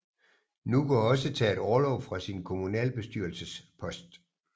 Nûko har også taget orlov fra sin kommunalbestyrelsespost